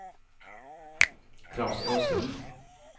Klas Åslund